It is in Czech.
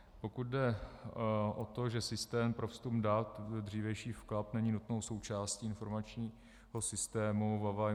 Pokud jde o to, že systém pro vstup dat byl dřívější vklad, není nutnou součástí informačního systému VaVaI.